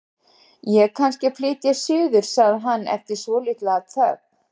Ég er kannski að flytja suður- sagði hann eftir svolitla þögn.